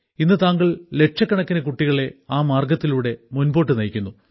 ഇന്ന് താങ്കൾ ലക്ഷക്കണക്കിന് കുട്ടികളെ ആ മാർഗ്ഗത്തിലൂടെ മുൻപോട്ട് നയിക്കുന്നു